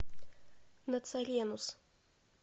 нацаренус